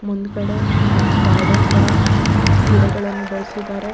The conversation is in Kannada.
ಮುಂದ್ಗಡೆ ಗಾರ್ಡನ್ ತರ ಗಿಡಗಳನ್ನು ಬೆಳ್ಸಿದಾರೆ.